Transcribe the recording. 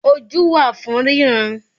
Ojú wà fún ríran